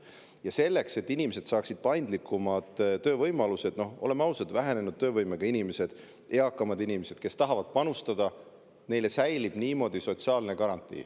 Ja selleks et inimesed saaksid paindlikumad töövõimalused, oleme ausad, vähenenud töövõimega inimesetele ja eakamatele inimestele, kes tahavad panustada, säilib niimoodi sotsiaalne garantii.